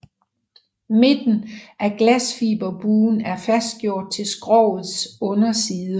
Midten af glasfiberbuen er fastgjort til skrogets underside